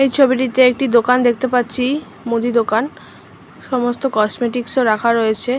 এই ছবিটিতে যে একটি দোকান দেখতে পাচ্ছি মুদি দোকান সমস্ত কসমেটিক্স -ও রাখা রয়েছে।